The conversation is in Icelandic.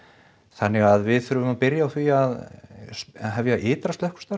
þannig að við þurfum að byrja á því að hefja ytra slökkvistarf